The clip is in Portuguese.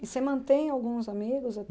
E você mantém alguns amigos